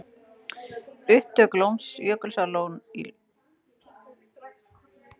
Upptök Jökulsár í Lóni.